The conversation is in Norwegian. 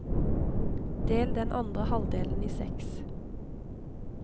Del den andre halvdelen i seks.